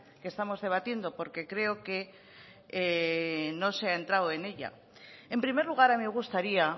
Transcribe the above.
que estamos debatiendo porque creo que no se ha entrado en ella en primer lugar me gustaría